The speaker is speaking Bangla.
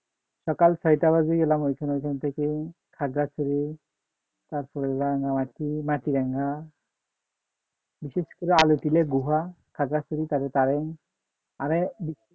সকাল ছয়টা বাজে গেলাম ওইখানে ওইখান থেকে খাগড়াছড়ি তারপর গেলাম ও আর কি মাটিরাঙ্গা বিশেষ করে আলী গুহা খাগড়াছড়ি তার কারণ মানে